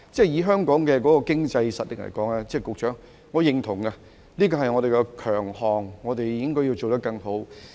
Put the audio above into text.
以香港的經濟實力來說，局長，我認同這個是我們的強項，我們應該要做得更好。